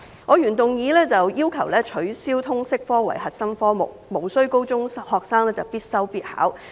我的原議案要求取消通識科為核心科目，無須高中學生必修必考。